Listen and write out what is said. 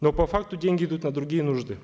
но по факту деньги идут на другие нужды